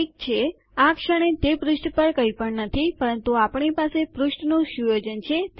ઠીક છે આ ક્ષણે તે પૃષ્ઠ પર કંઈપણ નથી પરંતુ આપણી પાસે પૃષ્ઠનું સુયોજન છે